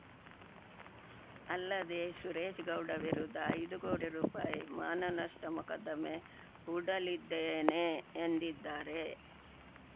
ಅಲ್ಲದೇ ಸುರೇಶ್ ಗೌಡ ವಿರುದ್ಧ ಐದು ಕೋಟಿ ರೂಪಾಯಿ ಮಾನನಷ್ಟಮೊಕದ್ದಮೆ ಹೂಡಲಿದ್ದೇನೆ ಎಂದಿದ್ದಾರೆ